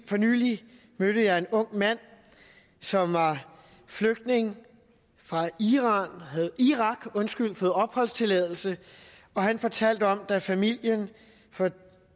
for nylig mødte jeg en ung mand som var flygtning fra irak og havde fået opholdstilladelse og han fortalte at da familien for